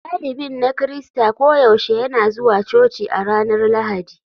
Dalibin na Kirista koyaushe yana zuwa coci a ranar Lahadi.